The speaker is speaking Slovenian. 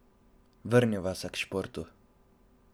Vrniva se k športu.